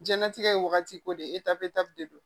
Diɲɛnatigɛ ye wagati ko de eta bɛ ta de don